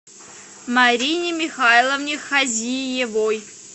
марине михайловне хазиевой